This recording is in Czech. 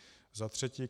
Za třetí.